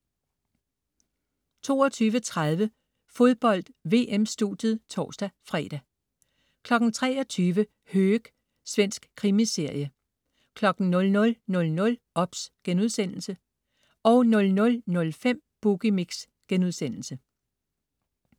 22.30 Fodbold: VM-studiet (tors-fre) 23.00 Höök. Svensk krimiserie 00.00 OBS* 00.05 Boogie Mix*